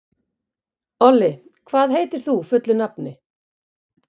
Olli, hvað heitir þú fullu nafni?